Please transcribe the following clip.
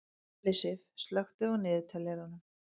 Ellisif, slökktu á niðurteljaranum.